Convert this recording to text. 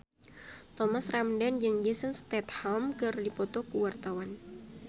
Thomas Ramdhan jeung Jason Statham keur dipoto ku wartawan